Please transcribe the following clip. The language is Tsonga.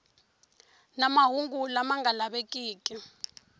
na mahungu lama nga lavekeki